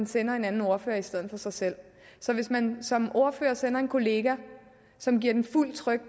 sender en anden ordfører i stedet for sig selv så hvis man som ordfører sender en kollega som giver den fuldt tryk